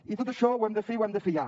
i tot això ho hem de fer i ho hem de fer ja